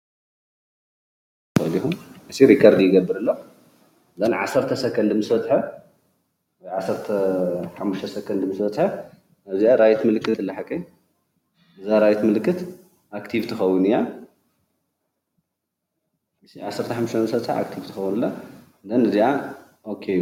እዚ ሪከርድ ይገብር ኣሎ፡፡ 15 ሰከንድ ምስ በፀሓ እዚኣ ራይት ምልክት ኣለ እዛ ራይት ምልክት ኣክቲቭ ትከውን 15 ምስ በፀሓ ኣክቲቭ ትከውን እያ ካብኡ ኦኬ